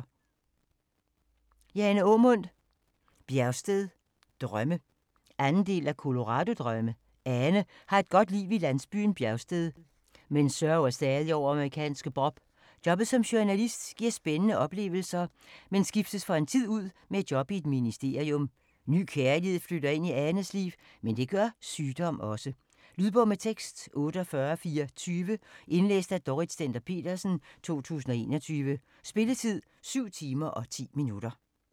Aamund, Jane: Bjergsted drømme 2. del af Colorado drømme. Ane har et godt liv i landsbyen Bjergsted, men sørger stadig over amerikanske Bob. Jobbet som journalist giver spændende oplevelser, men skiftes for en tid ud med et job i et ministerium. Ny kærlighed flytter ind i Anes liv, men det gør sygdom også. Lydbog med tekst 48420 Indlæst af Dorrit Stender-Petersen, 2021. Spilletid: 7 timer, 10 minutter.